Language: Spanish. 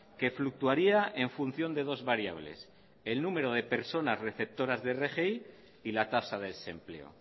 que fluctuaría en función de dos variables el número de personas receptoras de rgi y la tasa de desempleo